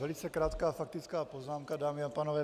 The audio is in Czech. Velice krátká faktická poznámka, dámy a pánové.